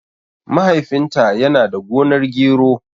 Mahaifin ta yana da gonar gero